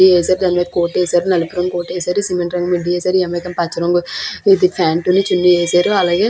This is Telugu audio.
ఎ వేసేనపుడు కోటు వేశారు నలుపురంగు వేశారు సిమెంట్ రంగు మిడ్డీ వేశారు పచ్చరంగు ప్యాంటు అను చున్నీ వేశారు అలాగే --